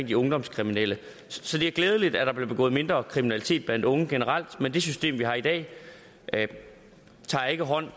de ungdomskriminelle så det er glædeligt at der bliver begået mindre kriminalitet blandt unge generelt men det system vi har i dag tager ikke hånd